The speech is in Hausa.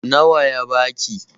Nawa ya baki?